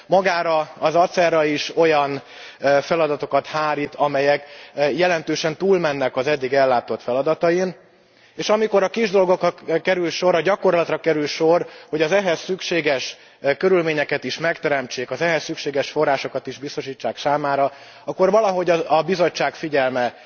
Magára az ACER ra is olyan feladatokat hárít, amelyek jelentősen túlmennek az eddig ellátott feladatain, és amikor a kis dolgokra kerül sor, a gyakorlatra kerül sor, arra, hogy az ehhez szükséges körülményeket is megteremtsék, az ehhez szükséges forrásokat is biztosítsák számára, akkor valahogy a Bizottság figyelme